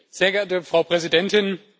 Sehr geehrte Frau Präsidentin!